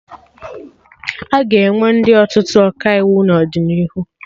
Aga enwe ndị ọtụtụ Ọkaiwu n'ọdịnihu